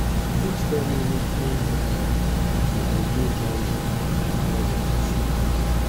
you fit tell me wetin um be di ideal noise um level for sleep?